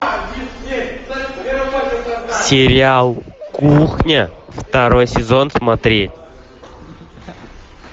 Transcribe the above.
сериал кухня второй сезон смотреть